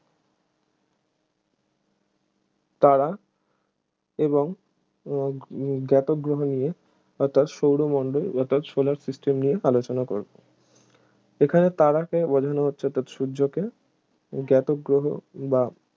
তারা এবং উহ উহ জাতগ্রহ নিয়ে অর্থাৎ সৌরমণ্ডল অর্থাৎ solar system নিয়ে আলোচনা করবো এখানে তারাকে সূর্যকে জাতগ্রহ বা